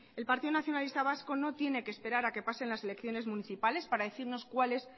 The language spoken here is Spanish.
el partido nacionalista vasco no tiene que esperar a que pasen las elecciones municipales para decirnos cuál es